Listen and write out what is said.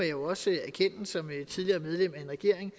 jo også som tidligere medlem af en regering